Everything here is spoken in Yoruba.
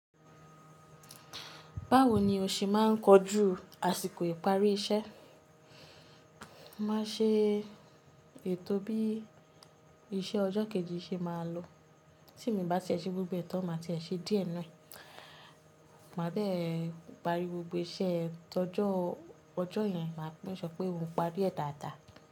Báwo ni o ṣe máa ń kojú àsìkò ìparí iṣẹ́? Máa ṣe ètò bí iṣẹ́ ọjọ́ kejì ṣe máa lọ. Tí mi bá tie ṣe gbogbo e tan máa ti ẹ ṣe díẹ̀ nu e, màá dẹ́ẹ̀ parí gbogbo iṣẹ́ tó ọjọ́, ọjọ́ yẹn, màá make sure pé mo parí ẹ̀ dáadáa.